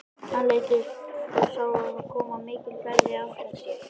Hann leit upp og sá þá koma á mikilli ferð í átt að sér.